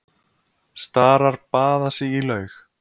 Starar baða sig í laug.